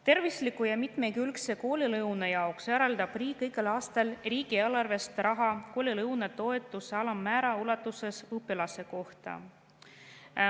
Tervisliku ja mitmekülgse koolilõuna jaoks eraldab riik igal aastal riigieelarvest raha koolilõunatoetuse alammäära ulatuses õpilase kohta.